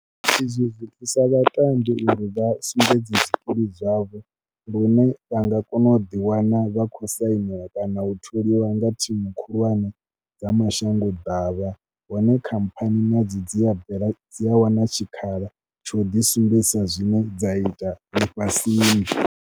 Izwo zwi thusa vhatambi uri vha sumbedze zwikili zwavho hune vha nga kona u ḓiwana vha khou sainela kana u tholiwa nga thimu khulwane dza mashangoḓavha hone khamphani nadzo dzi a bvela, dzi a wana tshikhala tsha u ḓisumbedzisa zwine dza ita ḽifhasini.